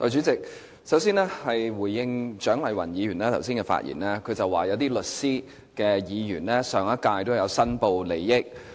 代理主席，首先我想回應蔣麗芸議員剛才的發言，她說有些身為律師的議員在上屆立法會有申報利益。